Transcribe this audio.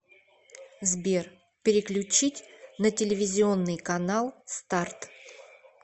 сбер переключить на телевизионный канал старт